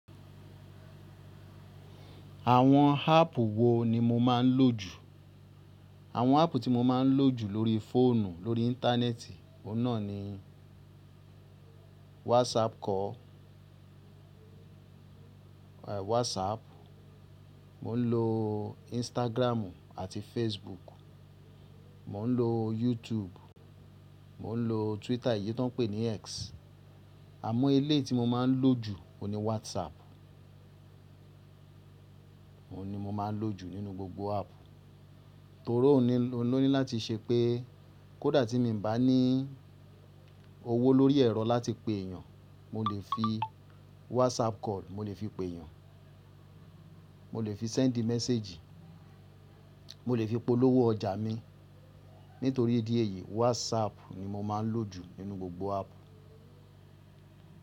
Àwọn áàpù wo ni mo máa ń lò jù? Àwọn áàpù tí mo máa ń lò jù lórí fóònù, lórí íńtánẹ́ẹ̀tì, òun náà ni WhatsApp call, è WhatsApp. Mò ń lo Instagram àti Facebook. Mò ń lo YouTube. Mò ń lo Twitter èyí tó ń pè ní X. Àmọ́ eléeti mo máa ń lò jù òun ni WhatsApp. Òun ni mo máa ń lò jù nínú gbogbo áàpù, torí òun ló ní láti ṣe pé kó dà tí mo ń bá ní owó lórí ẹ̀rọ láti pe èèyàn, mo lè fi WhatsApp call, mo lè fi pe èèyàn. Mo lè fi send message. Mo lè fi polówó ọjà mi. Nítorí ìdí èyí, WhatsApp ni mo máa ń lò jù nínú gbogbo áàpù.